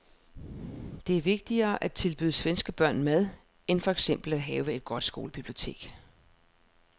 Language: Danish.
Det er vigtigere at tilbyde svenske børn mad end for eksempel at have et godt skolebibliotek.